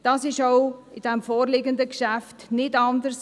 Das ist auch beim vorliegenden Geschäft nicht anders.